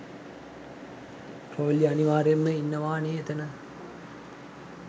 රොයිලි අනිවාර්යෙන්ම ඉන්නවනේ එතන.